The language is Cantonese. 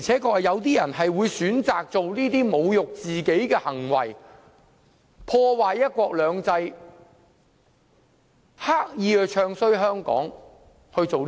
確實有些人會選擇作出這種侮辱自己的行為，破壞"一國兩制"，刻意"唱衰"香港。